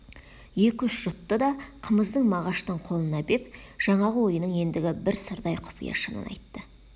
екі-үш жұтты да қымызды мағаштың қолына беп жаңағы ойының ендігі бір сырдай құпия шынын ашты